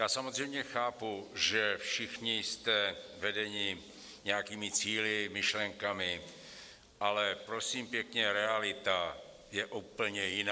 Já samozřejmě chápu, že všichni jste vedeni nějakými cíli, myšlenkami, ale prosím pěkně, realita je úplně jiná.